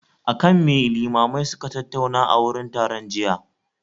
Akan me limamai suka tattauna a wurin taron jiya?